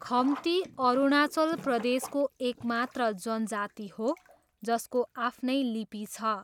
खम्ती अरुणाचल प्रदेशको एकमात्र जनजाति हो जसको आफ्नै लिपि छ।